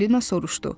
Falina soruşdu: